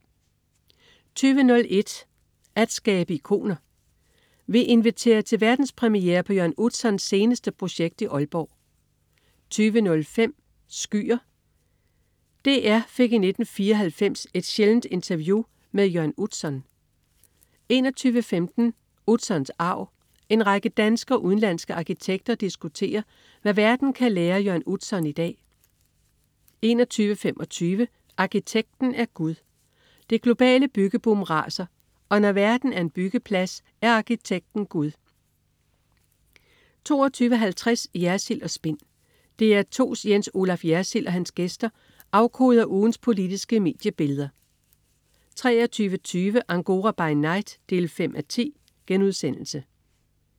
20.01 At skabe ikoner. Vi inviterer til verdenspremiere på Jørn Utzons seneste projekt i Aalborg 20.05 Skyer. DR fik i 1994 et sjældent interview med Jørn Utzon 21.15 Utzons arv. En række danske og udenlandske arkitekter diskuterer, hvad verden kan lære af Jørn Utzon i dag 21.25 Arkitekten er gud. Det globale byggeboom raser, og når verden er en byggeplads, er arkitekten gud 22.50 Jersild & Spin. DR2's Jens Olaf Jersild og hans gæster afkoder ugens politiske mediebilleder 23.20 Angora by night 5:10*